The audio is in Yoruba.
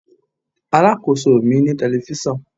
Alákóso mi ní telifíṣàn.